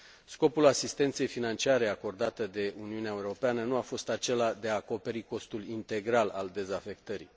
Scopul asistenței financiare acordate de Uniunea Europeană nu a fost acela de a acoperi costul integral al dezafectării.